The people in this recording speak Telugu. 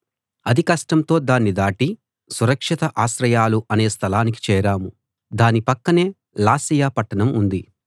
అతి కష్టంతో దాన్ని దాటి సురక్షిత ఆశ్రయాలు అనే స్థలానికి చేరాం దాని పక్కనే లాసియ పట్టణం ఉంది